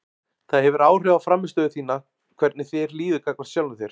Það hefur áhrif á frammistöðu þína hvernig þér líður gagnvart sjálfum þér.